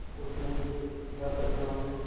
उसमें बिलकुल हरकत न हुई